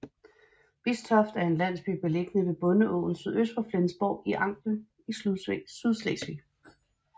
Bistoft er en landsby beliggende ved Bondeåen sydøst for Flensborg i Angel i Sydslesvig